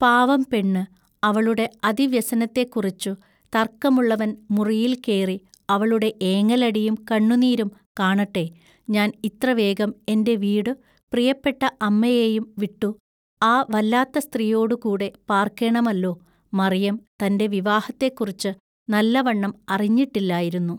പാവം പെണ്ണു അവളുടെ അതിവ്യസനത്തെക്കുറിച്ചു തർക്കമുള്ളവൻമുറിയിൽ കേറി അവളുടെ ഏങ്ങലടിയും കണ്ണുനീരും കാണട്ടെ ഞാൻ ഇത്ര വേഗം എന്റെ വീടു പ്രിയപ്പെട്ട അമ്മയേയും വിട്ടു ആ വല്ലാത്ത സ്ത്രീയോടു കൂടെ പാൎക്കേണമല്ലൊ" മറിയം തന്റെ വിവാഹത്തെക്കുറിച്ചു നല്ലവണ്ണം അറിഞ്ഞിട്ടില്ലായിരുന്നു.